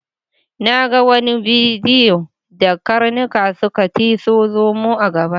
Na ga wani bidiyo da karnuka suka tiso zomo a gaba.